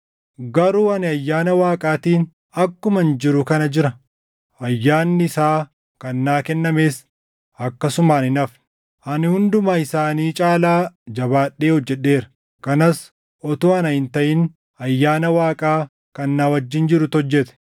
Garuu ani ayyaana Waaqaatiin akkuman jiru kana jira; ayyaanni isaa kan naa kennames akkasumaan hin hafne. Ani hunduma isaanii caalaa jabaadhee hojjedheera; kanas utuu ana hin taʼin ayyaana Waaqaa kan na wajjin jirutu hojjete.